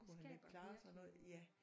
Det skaber virkelig noget